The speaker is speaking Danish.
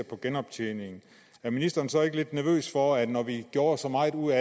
på genoptjening er ministeren så ikke lidt nervøs for når vi gjorde så meget ud